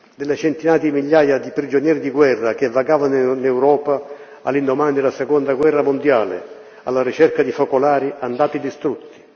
delle centinaia di migliaia di prigionieri di guerra che vagavano in Europa, all'indomani della Seconda guerra mondiale, alla ricerca di focolari andati distrutti